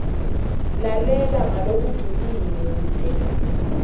lalela ngalokujulile kute